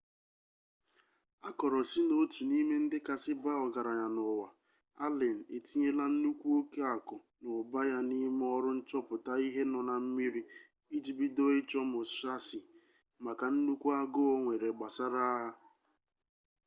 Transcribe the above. akoro si n'otu n'ime ndi kasi baa ogaranya n'uwa allen etinyela nnukwu oke aku n'uba ya n'ime oru nchoputa ihe no na mmiri iji bido icho musashi maka nnukwu aguu onwere gbasara agha